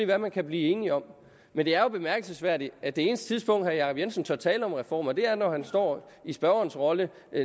hvad man kan blive enig om men det er jo bemærkelsesværdigt at det eneste tidspunkt herre jacob jensen tør tale om reformer på er når han står i spørgerens rolle